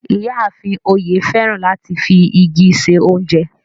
Iyàáfín Oye fẹ́ràn láti fi igi ṣẹ ọ̀unjẹ